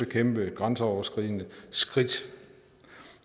kæmpe grænseoverskridende skridt